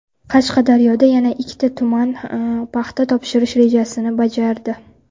Qashqadaryoda yana ikkita tuman paxta topshirish rejasini bajardi.